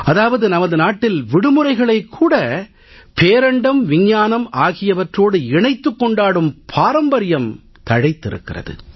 அதாவது நமது நாட்டில் விடுமுறைகளைக் கூட பேரண்டம் விஞ்ஞானம் ஆகியவற்றோடு இணைத்துக் கொண்டாடும் பாரம்பரியம் தழைத்திருக்கிறது